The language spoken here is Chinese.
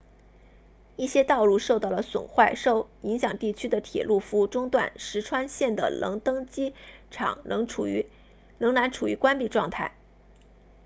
一些道路受到了损坏受影响地区的铁路服务中断石川 ishikawa 县的能登机场仍然处于关闭状态